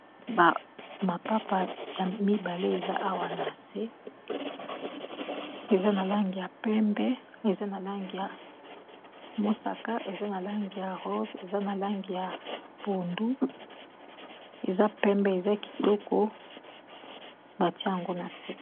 Mapapa ya mibale eza awa na se eza na langi ya pembe eza na langi ya mosaka eza na langi ya rose eza na langi ya pondu eza pembe eza kitoko batiango na se.